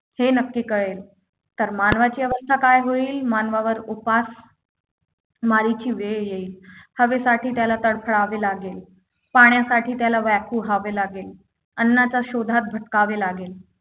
हे नक्की कळेल तर मानवाची अवस्था काय होईल मानवावर उपास मारीची वेळ येईल हवेसाठी त्याला तरफडावे लागेल पाण्यासाठी त्याला व्याकुळ व्हावे लागेल अन्नाच्या शोधात भटकावे लागेल